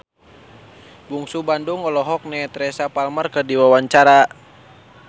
Bungsu Bandung olohok ningali Teresa Palmer keur diwawancara